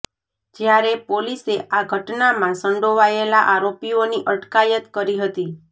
જ્યારે પોલીસે આ ઘટનામાં સંડોવાયેલા આરોપીઓની અટકાયત કરી હતી